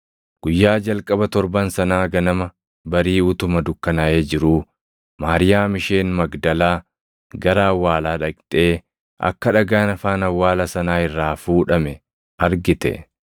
Guyyaa jalqaba torban sanaa ganama barii utuma dukkanaaʼee jiruu Maariyaam isheen Magdalaa gara awwaalaa dhaqxee akka dhagaan afaan awwaala sanaa irraa fuudhame argite.